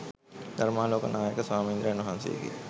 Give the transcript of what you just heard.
ධර්මාලෝක නායක ස්වාමීන්ද්‍රයන් වහන්සේගේ